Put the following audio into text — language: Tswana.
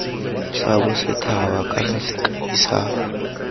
sa bosethaba kana sekai sa